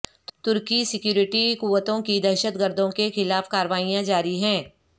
ترکی security قوتوں کی دہشت گردوں کے خلاف کاروائیاں جاری ہیں